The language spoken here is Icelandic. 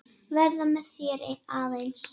Vera með þér aðeins.